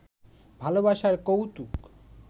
ভালবাসার কৌতুক